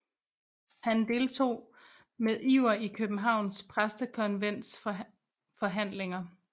Han deltog med iver i Københavns Præstekonvents forhandlinger